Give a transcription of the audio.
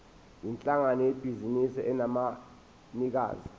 yinhlangano yebhizinisi enabanikazi